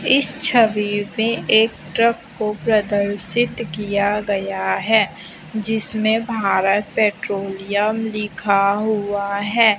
इस छवि में एक ट्रक को प्रदर्शित किया गया है जिसमें भारत पेट्रोलियम लिखा हुआ है।